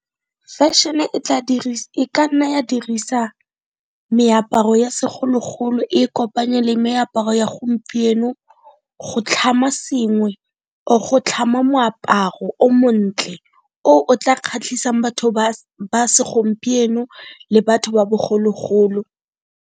Fashion e ka nna ya dirisa meaparo ya segologolo, e kopanye le meaparo ya gompieno go tlhama sengwe or go tlhama moaparo o montle, o o tla kgatlhisang batho ba segompieno le batho ba bogologolo.